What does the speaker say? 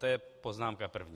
To je poznámka první.